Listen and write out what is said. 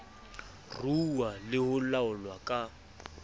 ruuwa le ho laolwa ka